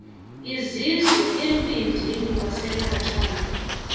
izizwe embindini wasenatala